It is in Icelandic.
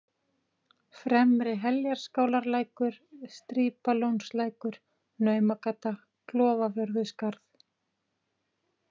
Fremri-Heljarskálarlækur, Strípalónslækur, Naumagata, Klofavörðuskarð